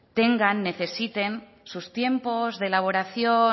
necesiten sus tiempos de elaboración